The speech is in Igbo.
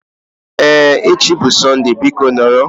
Ee, echi bụ Sọnde biko nọrọ